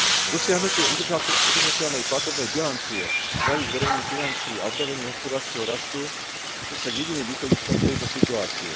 Dosiahnutie udržateľnej platobnej bilancie, zdravých verejných financií a obnovenie hospodárskeho rastu sú však jediným východiskom z tejto situácie.